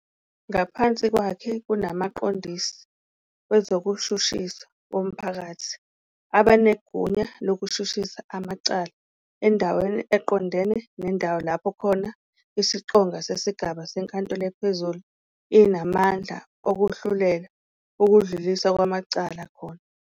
Ngaphansi kwakhe kunamaQondisi wezokuShushiswa womPhakathi abanegunya lokushushisa amacala endwaneni eqondane nendawo lapho khona isiqonga sesigaba seNkantolo ePhezulu inamandla okuhlulela ukudluliswa kwamacala khona.